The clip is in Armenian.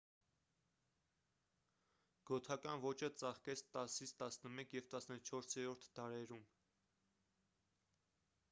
գոթական ոճը ծաղկեց 10-11 և 14-րդ դարերում